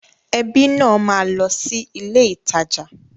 Ẹbí náà máa lọ sí ilé ìtajà.